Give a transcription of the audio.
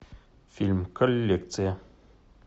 фильм коллекция